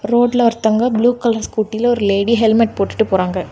Road ல ஒருத்தவுங்க blue colour scooty ல ஒரு லேடி ஹெல்மட் போட்டுட்டு போறாங்க.